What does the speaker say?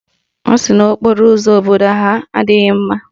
Ọ sị na okporo ụzọ obodo ha adịghị mma